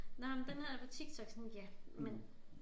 Nåh men den her TikTok sådan ja men